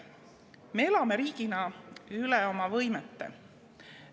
Me elame riigina üle oma võimete.